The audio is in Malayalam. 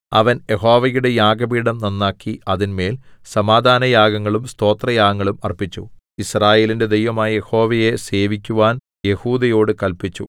അവൻ യഹോവയുടെ യാഗപീഠം നന്നാക്കി അതിന്മേൽ സമാധാനയാഗങ്ങളും സ്തോത്രയാഗങ്ങളും അർപ്പിച്ചു യിസ്രായേലിന്റെ ദൈവമായ യഹോവയെ സേവിക്കുവാൻ യെഹൂദയോട് കല്പിച്ചു